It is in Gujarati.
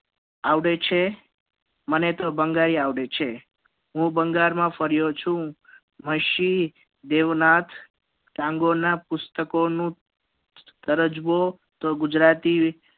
આવે છે મને તો બંગાળી આવડે છે હું બંગાળ માં ફર્યો છું પશ્ચિમ દેવનાથ તાંગોર ના પુસ્તકો નું તો ગુજરાતી